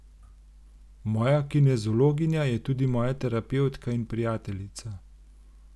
Moja kineziologinja je tudi moja terapevtka in prijateljica.